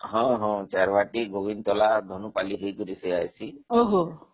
ହଁ ହଁଚାରବାଟୀ, ଗୋବିନ୍ଦତଲା, ଧନୁପାଲି ହେଇକରି ସେ ଆସି ଓହୋ